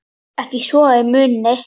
Ekki svo ég muni.